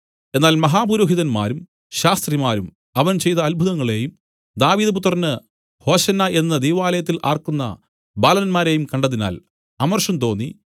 എന്നാൽ മഹാപുരോഹിതന്മാരും ശാസ്ത്രിമാരും അവൻ ചെയ്ത അത്ഭുതങ്ങളെയും ദാവീദ് പുത്രന് ഹോശന്നാ എന്നു ദൈവാലയത്തിൽ ആർക്കുന്ന ബാലന്മാരെയും കണ്ടതിനാൽ അമർഷം തോന്നി